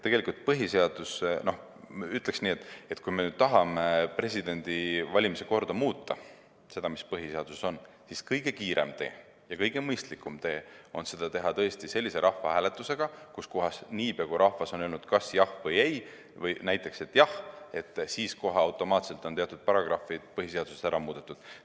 Ütleks nii, et kui me tahame muuta presidendivalimise korda, seda, mis põhiseaduses on, siis kõige kiirem ja kõige mõistlikum tee seda teha on tõesti selline rahvahääletus, kus rahvas ütleb kas jah või ei, ja niipea, kui rahvas on öelnud näiteks jah, siis kohe automaatselt on teatud paragrahvid põhiseaduses ära muudetud.